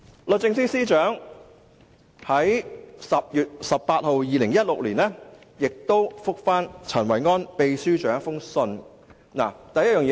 律政司司長在2016年10月18日亦以書面回覆陳維安秘書長。